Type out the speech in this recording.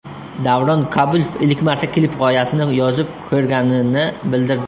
Davron Kabulov ilk marta klip g‘oyasini yozib ko‘rganini bildirdi.